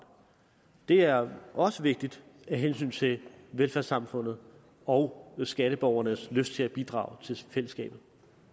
det er også vigtigt af hensyn til velfærdssamfundet og skatteborgernes lyst til at bidrage til fællesskabet